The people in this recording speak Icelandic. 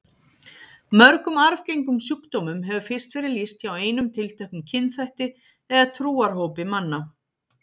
Mörgum arfgengum sjúkdómum hefur fyrst verið lýst hjá einum tilteknum kynþætti eða trúarhópi manna.